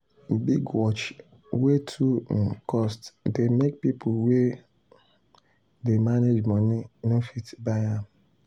big watch wey too um cost dey make people wey dey manage money no fit buy am.